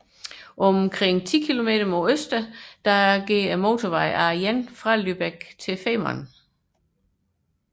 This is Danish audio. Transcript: Omkring 10 km mod øst løber motorvejen A1 fra Lübeck mod Femern